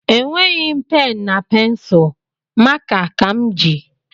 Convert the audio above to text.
Nweghi m pen na pensul maka ka m ji